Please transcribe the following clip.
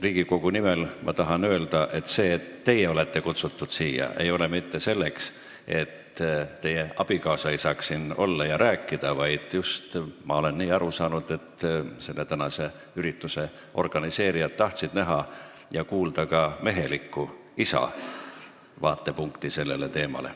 Riigikogu nimel tahan öelda, et teid ei kutsutud siia mitte sellepärast, et teie abikaasa ei saaks siin olla ja rääkida, vaid ma olen aru saanud, et tänase ürituse organiseerijad tahtsid näha ka mehelikku, isa vaatepunkti sellele teemale.